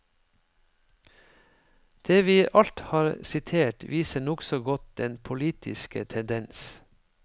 Det vi alt har sitert, viser nokså godt den politiske tendens.